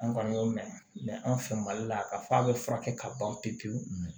An kɔni y'o mɛn mɛ an fɛ mali la k'a fɔ a bɛ furakɛ ka ban pewu pewu